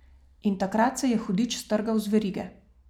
In takrat se je hudič strgal z verige.